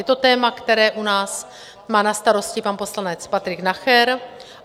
Je to téma, které u nás má na starosti pan poslanec Patrik Nacher.